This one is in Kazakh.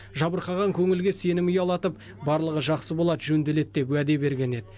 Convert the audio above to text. жабырқаған көңілге сенім ұялатып барлығы жақсы болады жөнделеді деп уәде берген еді